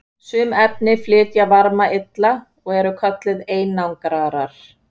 sum efni flytja varma illa og eru kölluð einangrarar